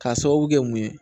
K'a sababu kɛ mun ye